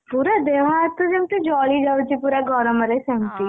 ପୁରା ଦେହ ହାତ ଯେମତି ଜଳିଯାଉଛି ପୁରା ଗରମ ରେ ସେମତି।